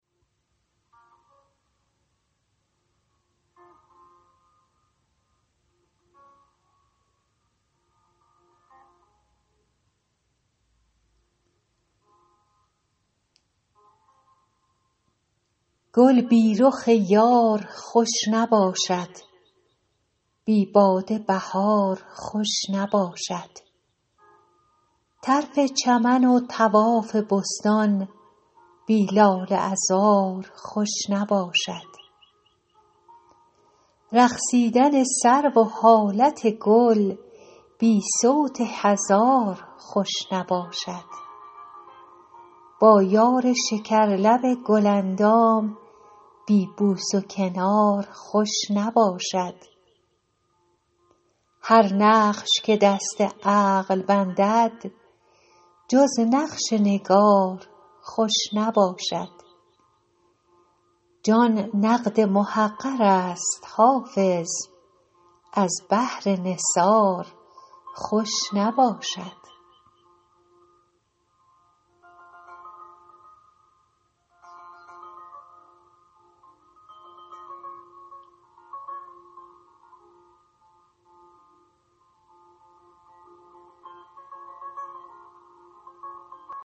گل بی رخ یار خوش نباشد بی باده بهار خوش نباشد طرف چمن و طواف بستان بی لاله عذار خوش نباشد رقصیدن سرو و حالت گل بی صوت هزار خوش نباشد با یار شکرلب گل اندام بی بوس و کنار خوش نباشد هر نقش که دست عقل بندد جز نقش نگار خوش نباشد جان نقد محقر است حافظ از بهر نثار خوش نباشد